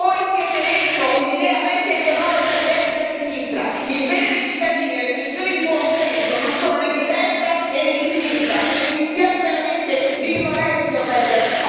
Voi siete dentro un'idea vecchia ideologica di destra e di sinistra, il bene dei cittadini e le decisioni di buon senso non sono né di destra e né di sinistra e mi dispiace veramente dirlo a lei, signor Weber.